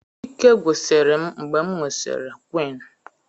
Ike gwusiri m mgbe m nwụsịrị quinn